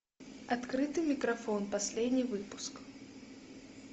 открытый микрофон последний выпуск